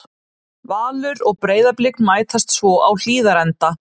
Valur og Breiðablik mætast svo á Hlíðarenda.